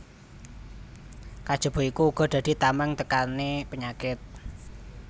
Kajaba iku uga dadi tamèng tekané penyakit